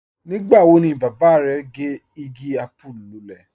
Nígbà wọ̀ ni baba rẹ̀ gẹ́ igi àpùú lúlẹ̀?